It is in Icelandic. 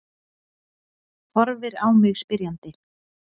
Horfir á mig spyrjandi.